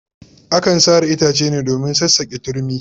Akan sare itace ne domin sassaƙe turmi.